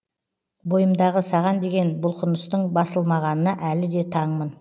бойымдағы саған деген бұлқыныстың басылмағанына әлі де таңмын